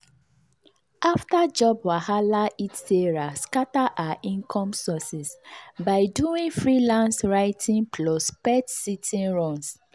after job market wahala hit sarah scatter her income sources by doing freelance writing plus pet-sitting runs.